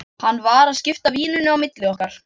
Hann var að skipta víninu á milli okkar!